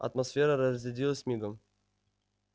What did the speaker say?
атмосфера разрядилась мигом